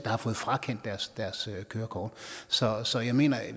har fået frakendt deres deres kørekort så så jeg mener at